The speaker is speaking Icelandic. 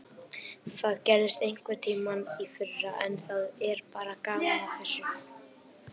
Það gerðist einhverntímann í fyrra en það er bara gaman að þessu.